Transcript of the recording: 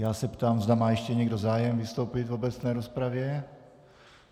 Já se ptám, zda má ještě někdo zájem vystoupit v obecné rozpravě.